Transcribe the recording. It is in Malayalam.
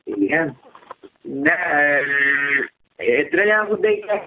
പിന്നെ പിന്നെ ഏഹ് എഹ് എത്രേനാവുമ്പത്തേക്കാ?